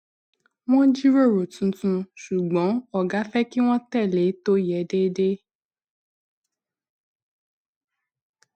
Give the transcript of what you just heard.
wọn jíròrò tuntun ṣùgbọn ògá fẹ kí wọn tẹlé tó yẹ déédéé